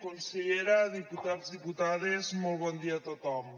consellera diputats diputades molt bon dia a tothom